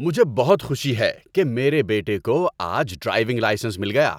مجھے بہت خوشی ہے کہ میرے بیٹے کو آج ڈرائیونگ لائسنس مل گیا